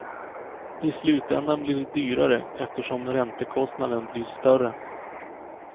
I slutändan blir det dyrare, eftersom räntekostnaden blir större.